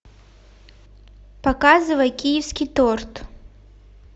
показывай киевский торт